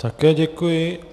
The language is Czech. Také děkuji.